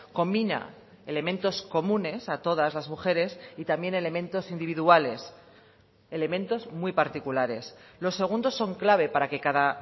combina elementos comunes a todas las mujeres y también elementos individuales elementos muy particulares los segundos son clave para que cada